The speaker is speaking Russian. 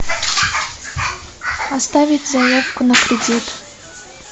оставить заявку на кредит